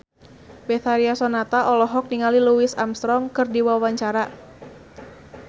Betharia Sonata olohok ningali Louis Armstrong keur diwawancara